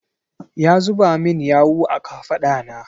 Ya zuba min yawu a kafaɗa na.